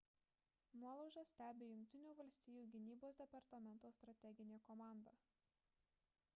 nuolaužas stebi jungtinių valstijų gynybos departamento strateginė komanda